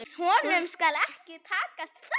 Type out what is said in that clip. Honum skal ekki takast það!